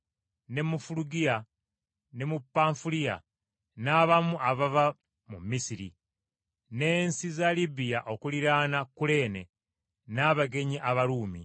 ne mu Fulugiya ne mu Panfuliya, n’abamu abava mu Misiri, n’ensi za Libiya okuliraana Kuleene, n’abagenyi Abaruumi,